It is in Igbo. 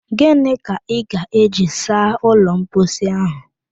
Ginị ka ị ga-eji saa ụlọ mposi ahụ?